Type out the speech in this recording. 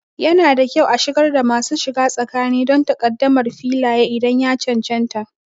Yana da kyau a shigar da masu shiga tsakani don takaddamar Filaye idan ya cancanta.